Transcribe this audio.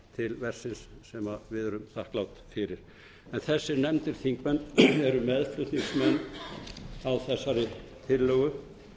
verksins sem við erum þakklát fyrir en þessir nefndu þingmenn eru meðflutningsmenn á þessari tillögu